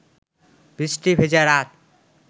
বৃষ্টি ভেজা রাত